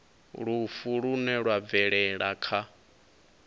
lufu lune lwa bvelela kha